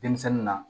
Denmisɛnnin na